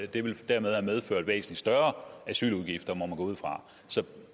det ville dermed have medført væsentlig større asyludgifter må man gå ud fra så